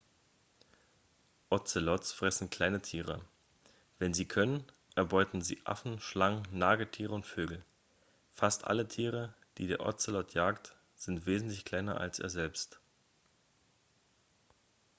ozelots fressen kleine tiere wenn sie können erbeuten sie affen schlangen nagetiere und vögel fast alle tiere die der ozelot jagt sind wesentlich kleiner als er selbst